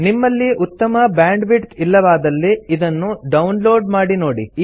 ನಿಮ್ಮಲ್ಲಿ ಉತ್ತಮ ಬ್ಯಾಂಡ್ವಿಡ್ತ್ ಇಲ್ಲವಾದಲ್ಲಿ ಇದನ್ನು ಡೌನ್ ಲೋಡ್ ಮಾಡಿ ನೋಡಿ